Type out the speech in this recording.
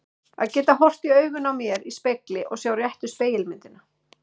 Að geta horft í augun á mér í spegli og sjá réttu spegilmyndina.